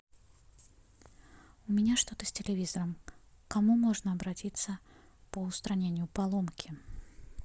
у меня что то с телевизором к кому можно обратиться по устранению поломки